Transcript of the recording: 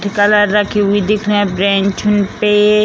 Colour रखी हुई दिख रही है ब्रेंच पे।